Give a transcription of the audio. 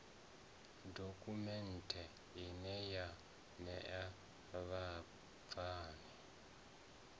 dokhumenthe ine ya ṋea vhabvann